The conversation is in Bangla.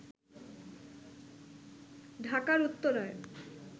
ঢাকার উত্তরায়